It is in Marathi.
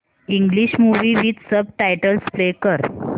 English movie with subtitles play कर